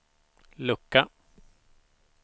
lucka